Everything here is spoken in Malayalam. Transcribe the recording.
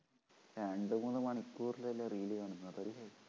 രണ്ടു മൂന്നു മണിക്കൂറല്ലേ reel കാണുന്നത്